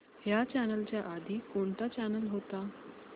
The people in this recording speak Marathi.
ह्या चॅनल च्या आधी कोणता चॅनल होता